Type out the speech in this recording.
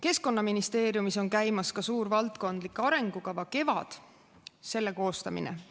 Keskkonnaministeeriumis on käimas suure valdkondliku arengukava "Kevad" koostamine.